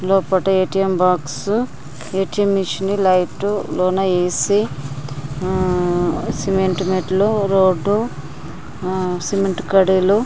లోపట A T M box A T M machine light లోన A C um cement మెట్లు road ఆ cement కడిలు--